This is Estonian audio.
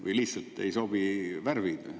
Või lihtsalt ei sobi värvid?